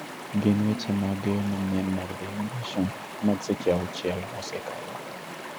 gin weche mage manyien mag dailly nation mag seche auchiel mosekalo